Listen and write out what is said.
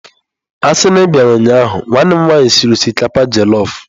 Asi na i biara ụnyahụ, nwanne m nwanyi siri osikapa jelọf.